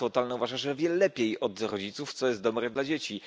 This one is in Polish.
Państwo totalne uważa, że wie lepiej od rodziców, co jest dobre dla dzieci.